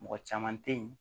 Mɔgɔ caman teyi